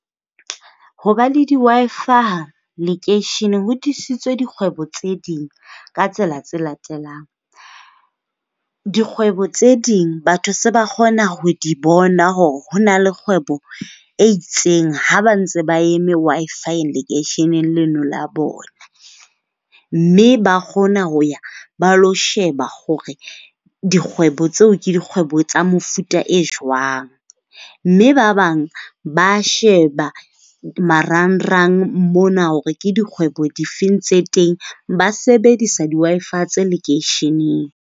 Hoba le di-Wi-Fi lekeisheneng ho thusitse dikgwebo tse ding ka tsela tse latelang. Dikgwebo tse ding batho se ba kgona ho di bona hore na le kgwebo e itseng ha ba ntse ba eme Wi-Fi lekeisheneng leno la bona. Mme ba kgona ho ya ba ilo sheba hore dikgwebo tseo ke dikgwebo tsa mofuta o jwang. Mme ba bang ba sheba marangrang mona hore ke dikgwebo dife tse teng. Ba sebedisa di-Wi-Fi tse lekeisheneng.